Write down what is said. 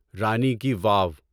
رانی کی واو